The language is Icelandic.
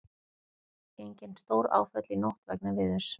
Engin stóráföll í nótt vegna veðurs